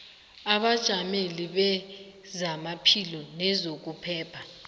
abajameli bezamaphilo nezokuphepha